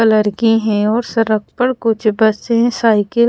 colour के है और सरक पर कुछ बसे साइकिल --